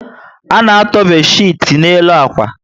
A na-atọ bedchiti n'elu akwa